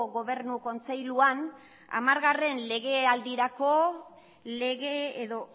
gobernu kontseiluan hamargarren legealdirako lege edo